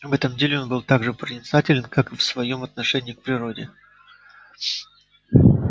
в этом деле он был так же проницателен как и в своём отношении к природе